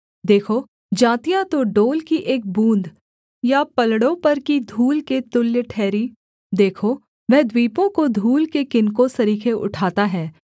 देखो जातियाँ तो डोल की एक बूँद या पलड़ों पर की धूल के तुल्य ठहरीं देखो वह द्वीपों को धूल के किनकों सरीखे उठाता है